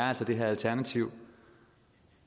er det her alternativ